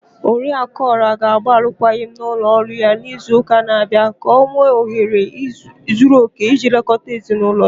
Oriakụ Ola ga-agba arụkwaghịm na ụlọ ọrụ ya n'izu ụka na-abịa ka o wee nwee ohere zuru okè iji lekọta ezi n'ụlọ ya.